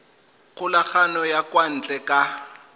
kgokagano ya kwa ntle ka